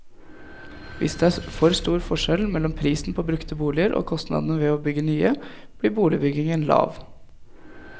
Hvis det er for stor forskjell mellom prisen på brukte boliger og kostnadene ved å bygge nye, blir boligbyggingen lav.